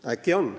Äkki on!